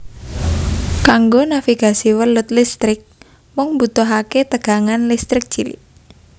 Kanggo navigasi welut listrik mung mbutuhaké tegangan listrik cilik